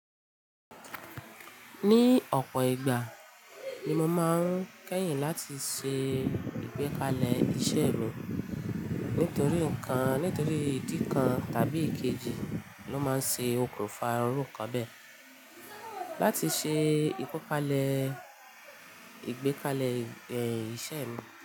Ní ọ̀pọ̀ ìgbà ni mo máa ń kẹ́yìn láti ṣe ìgbékalẹ̀ iṣẹ́ e mi. Nítorí nǹkan, nítorí ìdí kan tàbí ikeji ló máa ń ṣe okùnfà iru nkan bẹ́ẹ̀. Láti ṣe ìkọ́palẹ́, ìgbékalẹ̀ ẹ̀ iṣẹ́ mi.